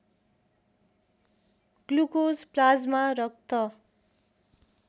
glucose plasma रक्त